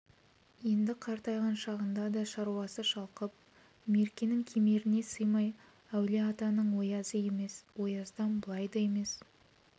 енді қартайған шағында да шаруасы шалқып меркенің кемеріне сыймай әулие-атаның оязы емес ояздан былай да емес